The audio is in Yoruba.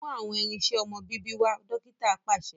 Mú awọn irinṣẹ ọmọ bíbí wá! dókítà paṣẹ